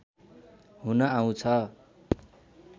हुन आउँछ